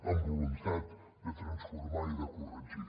amb voluntat de transformar i de corregir